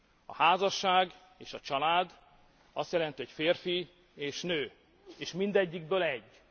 A házasság és a család azt jelenti, hogy férfi és nő, és mindegyikből egy.